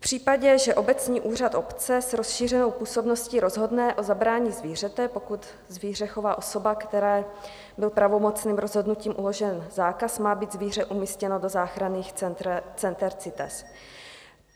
V případě, že obecní úřad obce s rozšířenou působností rozhodne o zabrání zvířete, pokud zvíře chová osoba, které byl pravomocným rozhodnutím uložen zákaz, má být zvíře umístěno do záchranných center CITES.